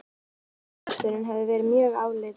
Hvorugur kosturinn hefði verið mjög álitlegur.